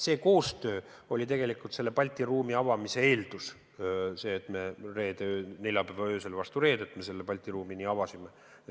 See koostöö oli tegelikult Balti ruumi avamise eeldus – selle eeldus, et me neljapäeva öösel vastu reedet Balti ruumi avasime.